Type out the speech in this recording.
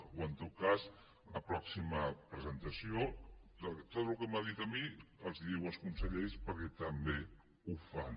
o en tot cas en la pròxima presentació tot el que m’ha dit a mi els ho diu als consellers perquè també ho fan